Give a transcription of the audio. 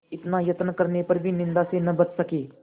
इतना यत्न करने पर भी निंदा से न बच सके